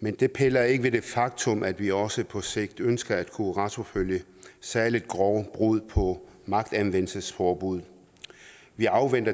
men det piller ikke ved det faktum at vi også på sigt ønsker at kunne retsforfølge særlig grove brud på magtanvendelsesforbud vi afventer